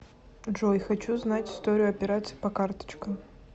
джой хочу знать историю операций по карточкам